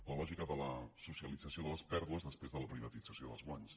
la lògica de la socialització de les pèrdues després de la privatització dels guanys